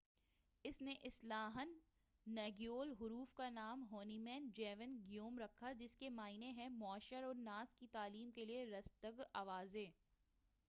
اس نے اصلاً ہانگیول حروف کا نام ہونمین جیون گیوم رکھا جس کے معنی ہیں معشر الناس کی تعلیم کے لئے درستگ آوازیں